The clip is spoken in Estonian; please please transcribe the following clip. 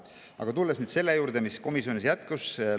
Aga tulen tagasi selle juurde, mis komisjonis.